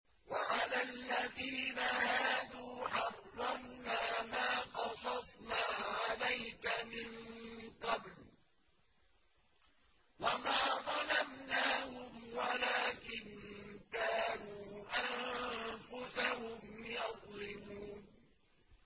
وَعَلَى الَّذِينَ هَادُوا حَرَّمْنَا مَا قَصَصْنَا عَلَيْكَ مِن قَبْلُ ۖ وَمَا ظَلَمْنَاهُمْ وَلَٰكِن كَانُوا أَنفُسَهُمْ يَظْلِمُونَ